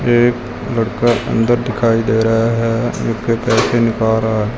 एक लड़का अंदर दिखाई दे रहा है झुक के पैसे निकाल रहा है।